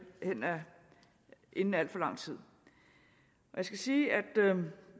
inden al for lang tid jeg skal sige at